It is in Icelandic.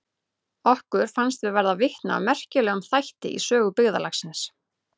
Okkur fannst við verða vitni að merkilegum þætti í sögu byggðarlagsins.